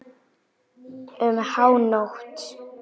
Um hánótt.